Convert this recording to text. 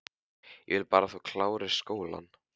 Ég vil bara að þú klárir skólann